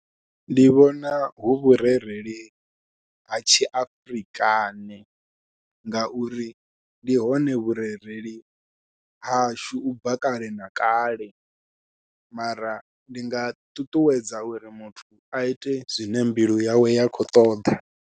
Ndi vhona hu vhurereli ha tshi Afrikane ngauri ndi hone vhurereli hashu u bva kale na kale mara ndi nga ṱuṱuwedza uri muthu a ite zwine mbilu yawe ya khou ṱoḓa.